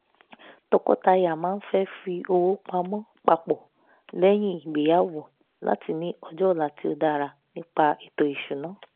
tọkọtaya máa fẹ́ fi owó pamọ́ pàpọ̀ lẹ́yìn ìgbéyàwó láti ní ọjọ́ ọ̀la tí ó dára nípa ètò ìṣúná